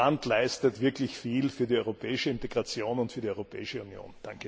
Das Land leistet wirklich viel für die europäische Integration und für die Europäische Union.